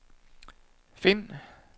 find